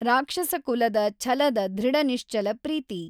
ರಾಕ್ಷಸಕುಲದ ಛಲದ ದೃಢನಿಶ್ಚಲ ಪ್ರೀತಿ.